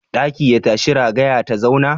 Ɗaki ya tashi ragaya ta zauna?